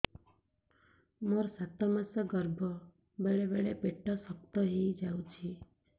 ମୋର ସାତ ମାସ ଗର୍ଭ ବେଳେ ବେଳେ ପେଟ ଶକ୍ତ ହେଇଯାଉଛି